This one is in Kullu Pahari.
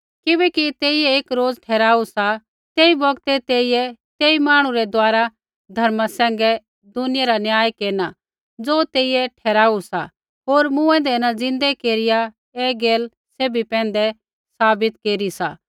किबैकि तेइयै एक रोज़ ठहराऊ सा तेई बौगतै तेई तेई मांहणु रै द्वारा धर्मा सैंघै दुनिया रा न्याय केरना ज़ो तेइयै ठहराऊ सा होर मूँऐंदै न ज़िन्दै केरिया ऐ गैल सैभी पैंधै साबित केरी सा